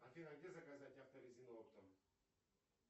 афина где заказать авторезину оптом